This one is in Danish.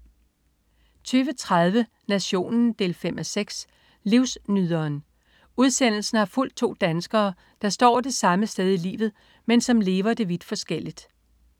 20.30 Nationen 5.6. Livsnyderen. Udsendelsen har fulgt to danskere, der står det samme sted i livet, men som lever det vidt forskelligt